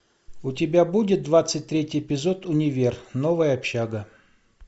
у тебя будет двадцать третий эпизод универ новая общага